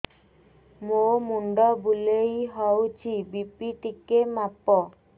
ମୋ ମୁଣ୍ଡ ବୁଲେଇ ହଉଚି ବି.ପି ଟିକେ ମାପ